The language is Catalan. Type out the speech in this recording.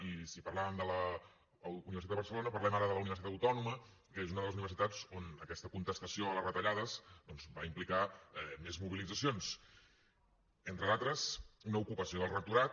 i si parlàvem de la universitat de barcelona parlem ara de la universitat autònoma que és una de les universitats on aquesta contestació a les retallades doncs va implicar més mobilitzacions entre d’altres una ocupació del rectorat